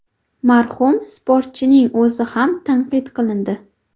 Marhum sportchining o‘zi ham tanqid qilindi .